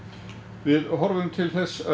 við horfum til þess að